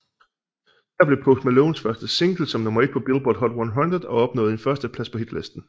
Der blev Post Malones første single som nummer ét på Billboard Hot 100 og opnåede en førsteplads på Hitlisten